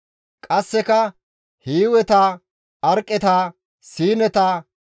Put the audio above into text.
qasseka Hiiweta, Arqeta, Siineta,